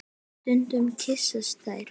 Stundum kyssast þær.